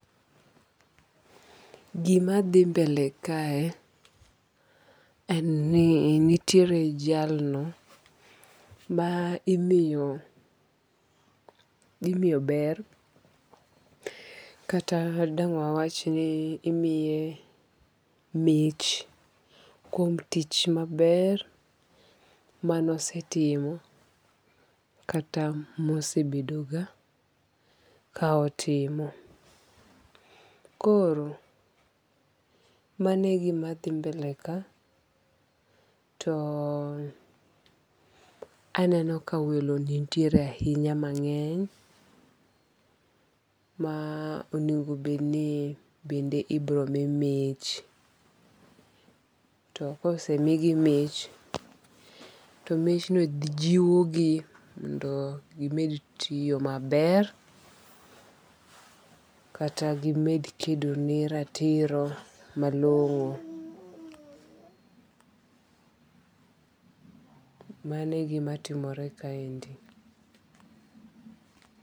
Gima dhi mbele kae en ni nitiere jalno ma imiyo ber kata dang' wa wach ni imiye mich kuom tich maber manosetimo kata mosebedo ga ka otimo. Koro manegima dhi mbele ka. To Aneno ka welo nitiere ahinya mang'eny ma onego bed ni bende ibiro mi mich. To kosemigi mich to mich no jiwo gi mondo gimed tiyo maber kata gimed kedo ne ratiro malong'o. Manegima timore kaendi.